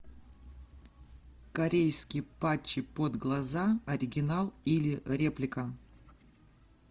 корейские патчи под глаза оригинал или реплика